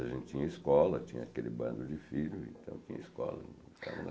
A gente tinha escola, tinha aquele bando de filho, então tinha escola.